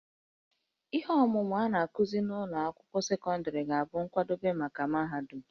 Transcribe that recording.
Ihe ọmụmụ a na-akụzi n'ụlọ akwụkwọ sekọndịrị ga-abụ nkwadebe maka mahadum